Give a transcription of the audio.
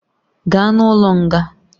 Gaa n'ụlọ nga!